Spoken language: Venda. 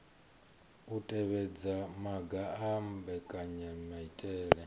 u tevhedza maga a mbekanyamaitele